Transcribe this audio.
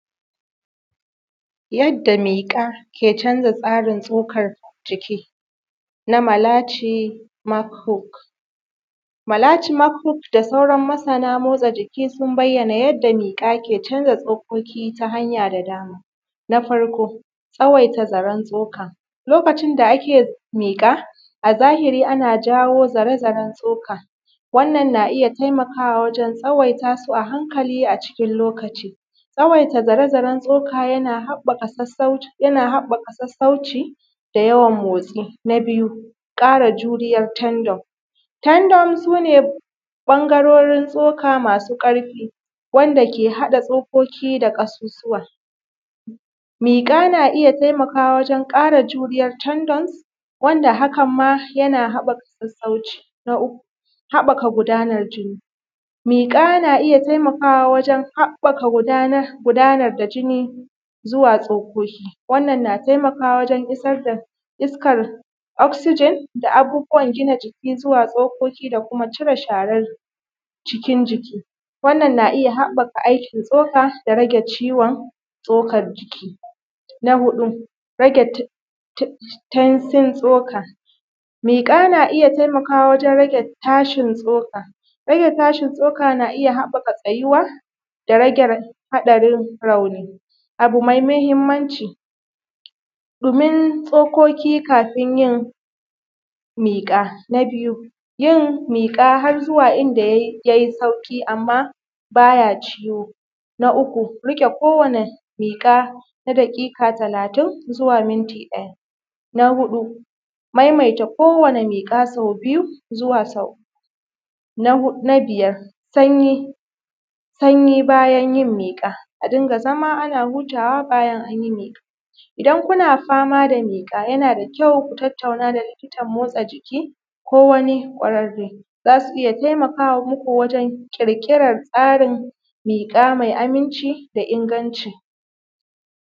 Yadda miƙa ya canza tsarin tsokar jiki na Malachi Mchook. Malachi Mchook da sauran masana motsa jiki sun bayyana yanda miƙa ke canza tsokoki ta hanya da dama. Na farko, tsawaita zaren tsoka, lokacin da ake miƙa, a zahiri ana jawo zare-zaren tsoka, wannan na iya taimakawa wajen tsawaita su a hankali acikin lokaci, tsawaita zare-zaren tsoka yana haɓɓaka sassauci da yawan motsi. Na biyu, ƙara juriyar tendon, tendon sune ɓangarorin tsoka masu ƙarfi, wanda ke haɗa tsokoki da ƙasusuwa, miƙa na iya taimakawa wajen ƙara juriyar tendons, wanda hakan ma yana haɓɓaka sassauci. Na uku, haɓɓaka gudanar jini, miƙa na iya taimakawa wajen haɓɓaka gudanar da jini zuwa tsokoki, wannan na taimakawa wajen isar da iskar oxygen da abubuwan gina jiki zuwa tsokoki da kuma da kuma cire sharer cikin jiki, wannan na iya haɓɓaka aikin tsoka da rage ciwon tsokar jiki. Na huɗu, rage tensin tsoka, miƙa na iya taimakawa wajen rage tashin tsoka, rage tashin tsoka na iya haɓɓaka tsayuwa da rage haɗarin rauni. Abu mai muhimmanci, ɗumin tsokoki kafin yin miƙa, na biyu yin miƙa har zuwa inda yayi sauƙi amma baya ciwo, na uku, riƙe kowani miƙa na daƙiƙa talatin zuwa minti ɗaya, na huɗu maimaita kowanni miƙa sau biyu zuwa sau uku, na biyar sanyi, sanyi bayan yin miƙa, a ringa zama ana hutawa bayan anyi miƙa, idan kuna fama da miƙa yanada kyau ku tattauna da likitan motsa jiki ko wani ƙwararre, zasu iya taimaka muku wajen ƙirƙirar tsarin miƙa mai aminci da inganci.